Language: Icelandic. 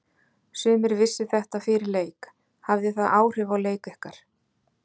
Sumir vissu þetta fyrir leik hafði það áhrif á leik ykkar?